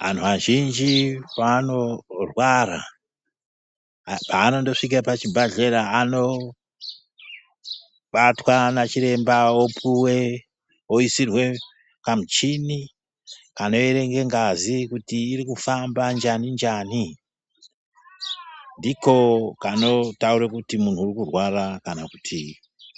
Vantu vazhinji panorwara vanondosvike pachibhadhlera anobatwa nachiremba opuve oisirwe kamuchini kanoerenge ngazi kuti iri kufamba njani-njani. Ndiko kanotaura kuti muntu urikurwara kana kuti